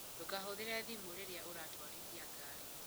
Ndũkahũthĩre thimũ rĩrĩa ũratwarithia ngari.